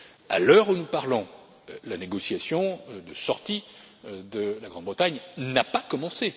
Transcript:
À l'heure où nous parlons, la négociation de sortie de la Grande Bretagne n'a pas commencé.